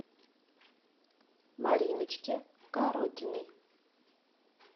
мариночке коротиной